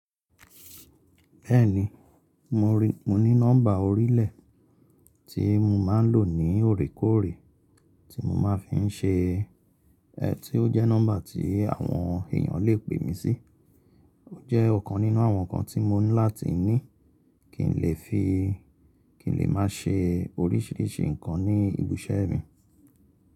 Bẹ́ẹ̀ni, mo ní nọ́mbà orílẹ̀ tí mo máa ń lò ní òrékòóré tí mo máa ń fi ń ṣe, tí ó jẹ́ nọ́mbà tí àwọn èyàn lè pè mí sí. Ó jẹ́ ọ̀kan nínú àwọn nǹkan tí mo ní láti ní kí n lè máa ṣe oríṣìíríṣìí nǹkan ní ibiṣẹ́ mi.